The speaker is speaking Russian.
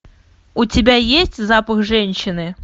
у тебя есть запах женщины